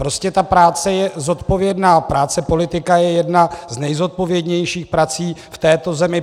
Prostě ta práce je zodpovědná, práce politika je jedna z nejzodpovědnějších prací v této zemi.